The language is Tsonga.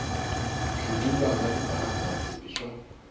swivulwa na tipharagirafu i swa